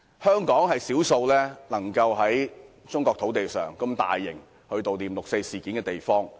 香港是少數可以在中國土地上，舉行如此大型悼念六四活動的地方。